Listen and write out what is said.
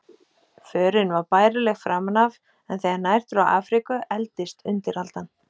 Förin var bærileg framan af, en þegar nær dró Afríku efldist undiraldan.